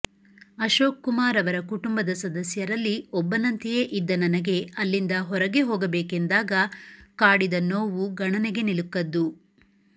ಅಶೋಕ್ ಕುಮಾರ್ ಅವರ ಕುಟುಂಬದ ಸದಸ್ಯರಲ್ಲಿ ಒಬ್ಬನಂತೆಯೇ ಇದ್ದ ನನಗೆ ಅಲ್ಲಿಂದ ಹೊರಗೆ ಹೋಗಬೇಕೆಂದಾಗ ಕಾಡಿದ ನೋವು ಗಣನೆಗೆ ನಿಲುಕದ್ದು